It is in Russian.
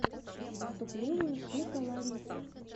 выступление шика лариса